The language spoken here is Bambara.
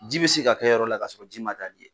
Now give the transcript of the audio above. Ji bɛ se ka kɛ yɔrɔ la ka sɔrɔ ji ma taa n'i ye.